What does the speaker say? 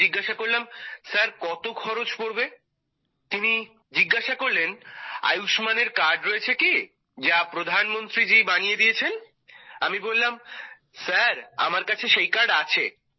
আমি জিজ্ঞাসা করলাম স্যার কত খরচ পড়বে তিনি জিজ্ঞাসা করলেন আয়ুষ্মানের কার্ড রয়েছে কি যা প্রধানমন্ত্রীজি বানিয়ে দিয়েছেন আমি বললাম স্যার আমার কাছে সেই কার্ড আছে